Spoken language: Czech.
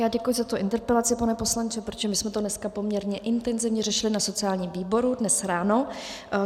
Já děkuji za tu interpelaci, pane poslanče, protože my jsme to dneska poměrně intenzivně řešili na sociálním výboru, dnes ráno.